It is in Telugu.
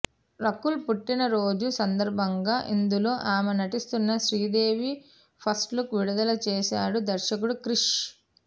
రకుల్ పుట్టినరోజు సందర్భంగా ఇందులో ఆమె నటిస్తున్న శ్రీదేవి ఫస్ట్ లుక్ విడుదల చేసాడు దర్శకుడు క్రిష్